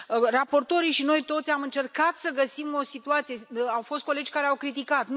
Raportorii și noi toți am încercat să găsim o situație, au fost colegi care au criticat.